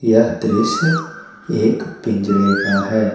यह दृश्य एक पिंजरे का है।